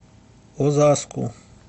озаску